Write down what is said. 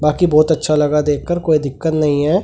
बाकी बहुत अच्छा लगा देखकर कोई दिक्कत नहीं है ।